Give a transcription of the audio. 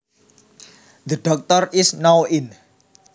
The Doctor is now in